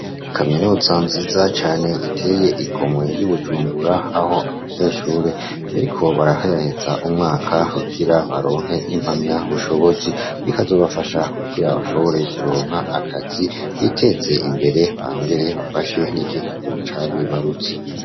kaminuza nziza cane iteye igomwe y'ubujumbura aho abanyeshuri bariko baraheraheza umwaka kugira baronke impamya bushobozi bikazobafasha kukira bashobore kuronka akazi biteze imbere bangere bafashe n'igihugu ca bibarutse